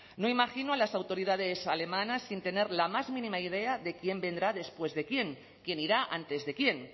no imagino a las autoridades alemanas sin tener la más mínima idea de quién vendrá después de quién quien irá antes de quién